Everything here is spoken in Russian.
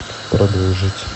продолжить